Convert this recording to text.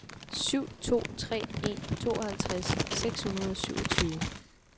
syv to tre en tooghalvtreds seks hundrede og syvogtyve